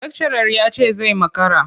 Lakcarar ya ce zai makara.